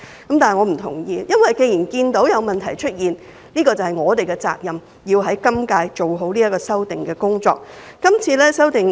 既然我們看到有問題出現，我們就有責任要在今屆立法會做好修訂的工作。